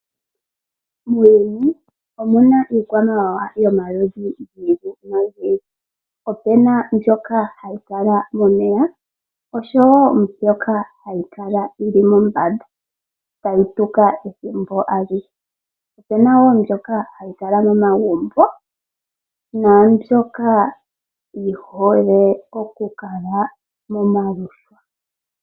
Muuyuni omu na iikwamawawa yomaludhi ogendji. Ope na mbyoka hayi kala momeya naambyoka hayi kala mombanda tayi tuka ethimbo alihe. Yimwe ohayi kala momagumbo naambyoka yihole okukala momaluhwa.